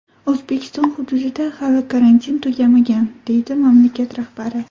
O‘zbekiston hududida hali karantin tugamagan”, deydi mamlakat rahbari.